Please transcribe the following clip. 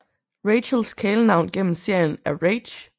Rachels kælenavn gennem serien er Rach